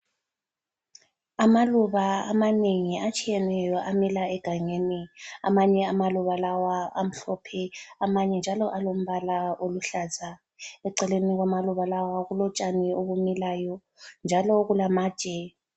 Amaluba amanengi atshiyeneyo amila egangeni, amanye amaluba lawa amhlophe amanye njalo alombala oluhlaza, eceleni kwamaluba lawo kulotshani obumilayo, njalo kulamatshe.